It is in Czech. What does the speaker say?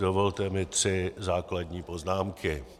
Dovolte mi tři základní poznámky.